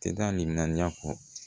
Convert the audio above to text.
Tɛ da ni ŋaniya kɔ